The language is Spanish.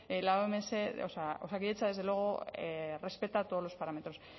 osakidetza desde luego respeta todos los parámetros